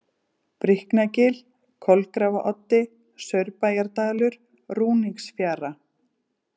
Bríknagil, Kolgrafaoddi, Saurbæjardalur, Rúningsfjara